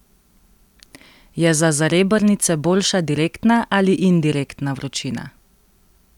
Je za zarebrnice boljša direktna ali indirektna vročina?